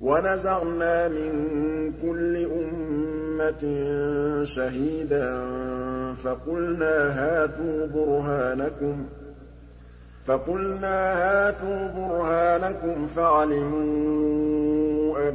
وَنَزَعْنَا مِن كُلِّ أُمَّةٍ شَهِيدًا فَقُلْنَا هَاتُوا بُرْهَانَكُمْ فَعَلِمُوا